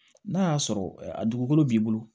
N'a y'a sɔrɔ a dugukolo b'i bolo